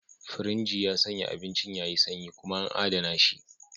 Firinji ya sanya abincin yayi sanyi kuma an adana shi.